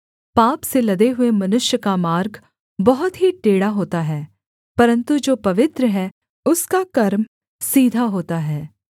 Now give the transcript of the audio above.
पाप से लदे हुए मनुष्य का मार्ग बहुत ही टेढ़ा होता है परन्तु जो पवित्र है उसका कर्म सीधा होता है